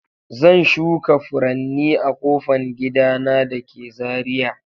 Zan shuka furanni a ƙofan gida na da ke Zariya.